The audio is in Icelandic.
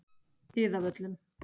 Iðavöllum